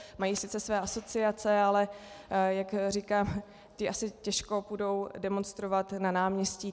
Mají sice své asociace, ale jak říkám, ti asi těžko půjdou demonstrovat na náměstí.